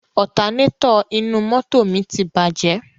Ọtanétọ̀ inú mọ́tò mi ti bàjẹ́.